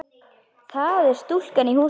Það er stúlkan í húsinu.